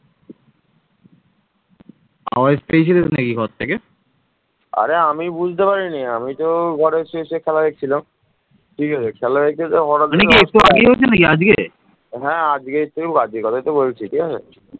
মুঘল আমলে সুবাহ বাংলা সমগ্র সাম্রাজ্যের পঞ্চাশ শতকরা ভাগ এর যোগান দিত